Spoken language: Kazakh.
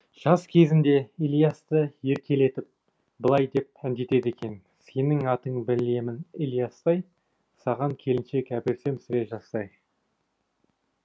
жас кезінде ілиясты еркелетіп былай деп әндетеді екен сенің атың білемін ілиястай саған келіншек әперсем сірә жастай